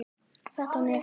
Þetta nef!